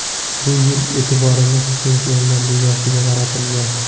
Bu yil e’tiborimiz Chempionlar Ligasiga qaratilgan.